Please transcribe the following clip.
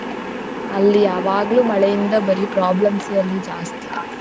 ಅಲ್ಲಿ ಯಾವಾಗ್ಲೂ ಮಳೆಯಿಂದ ಬರೀ problems ಎ ಅಲ್ಲಿ ಜಾಸ್ತಿ .